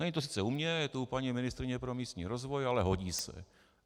Není to sice u mě, je to u paní ministryně pro místní rozvoj, ale hodí se.